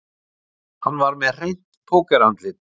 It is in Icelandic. Hann var með hreint pókerandlit